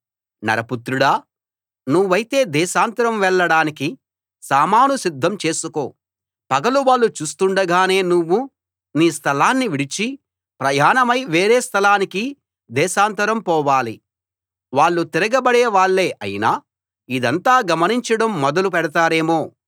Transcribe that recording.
నరపుత్రుడా నువ్వైతే దేశాంతరం వెళ్ళడానికి సామాను సిద్ధం చేసుకో పగలు వాళ్ళు చూస్తుండగానే నువ్వు నీ స్థలాన్ని విడిచి ప్రయాణమై వేరే స్థలానికి దేశాంతరం పోవాలి వాళ్ళు తిరగబడే వాళ్ళే అయినా ఇదంతా గమనించడం మొదలు పెడతారేమో